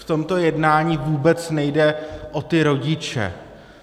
V tomto jednání vůbec nejde o ty rodiče.